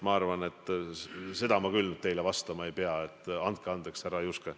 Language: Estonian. Ma arvan, et seda ma küll teile vastama ei pea, andke andeks, härra Juske.